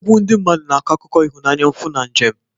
Egwu ndị mmadụ na-akọ akụkọ ịhụnanya, mfu, na njem.